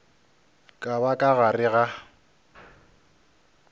ka ba ka gare ga